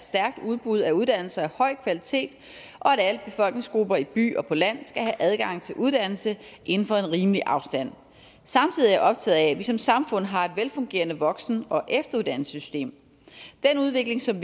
stærkt udbud af uddannelser af høj kvalitet og at alle befolkningsgrupper i by og på land skal have adgang til uddannelse inden for en rimelig afstand samtidig er jeg optaget af at vi som samfund har et velfungerende voksen og efteruddannelsessystem den udvikling som